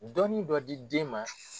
Dɔnni dɔ di den ma